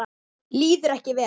Líður ekki vel.